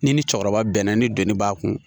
Ni ni cɛkɔrɔba bɛnna ni donni b'a kun